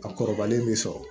A kɔrɔbalen bɛ sɔrɔ